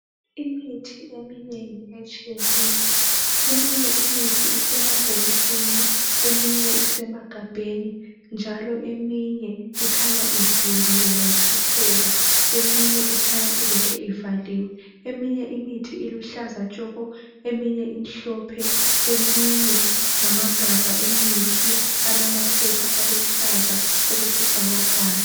Imithi eminengi etshiyeneyo. Eminye imithi isemabhokisini, eminye isemagabheni, njalo eminye ikhanya ivuliwe yachitheka, eminye ikhanya ilokhe ivaliwe. Eminye imithi iluhlaza tshoko, eminye imhlophe, eminye ngamagabha emithi alamaphepha aluhlaza okwesibhakabhaka.